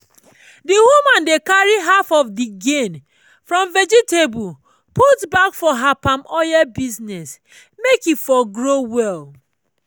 the woman dey carry half of the gain from vegetable put back for her palm oil business make e for grow well.